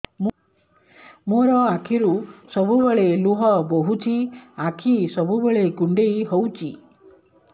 ମୋର ଆଖିରୁ ସବୁବେଳେ ଲୁହ ବୋହୁଛି ଆଖି ସବୁବେଳେ କୁଣ୍ଡେଇ ହଉଚି